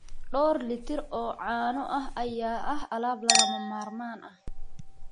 Dhowr litir oo caano ah ayaa ah alaab lagama maarmaan ah.